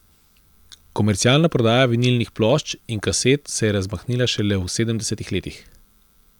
Komercialna prodaja vinilnih plošč in kaset se je razmahnila šele v sedemdesetih letih.